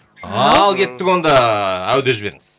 ал кеттік онда әу деп жіберіңіз